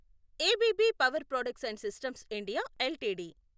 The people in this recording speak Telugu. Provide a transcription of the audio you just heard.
ABB power products and systems India LTD